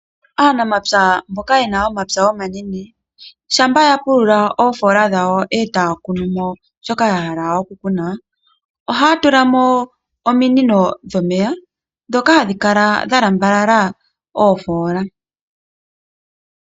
Aanamapya mboka yena omapya omanene, shampa yapulula oofoola dhawo etaya kunu mo shoka yahala oku kunamo, ohaya tulamo ominino dhomeya. Ndhoka hadhi kala dhalambalala oofoola.